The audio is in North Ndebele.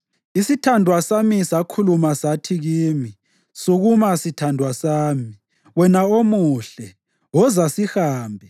Isithandwa sami sakhuluma sathi kimi, “Sukuma, sithandwa sami, wena omuhle, woza sihambe.